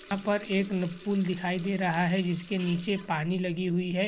यहाँ पर एक न पूल दिखाई दे रहा है। जिसके निचे पानी लगी हुई है।